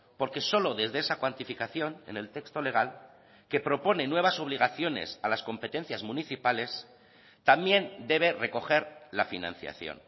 porque solo desde esa cuantificación en el texto legal que propone nuevas obligaciones a las competencias municipales también debe recoger la financiación